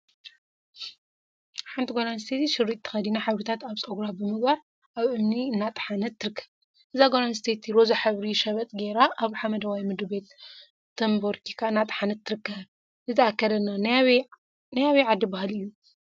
ሓንቲ ጓል አንስተይቲ ሸሪጥ ተከዲና ሕብሪታት አብ ፀጉራ ብምግባር አብ እምኒ እናጠሓነት ትርከብ፡፡ እዛ ጓል አነስተይቲ ሮዛ ሕብሪ ሸበጥ ገይራ አብ ሓመደዋይ ምድሪ ቤት ተቦሪካ እናጠሓነት ትርከብ፡፡ እዚ አከዳድና ናይ አበይ ዓዲ ባህሊ እዩ?